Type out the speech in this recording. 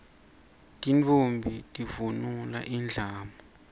tintfombi tivunula indlamu